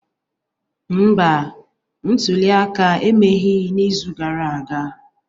Mba, ntuli aka emeghị n'izu gara aga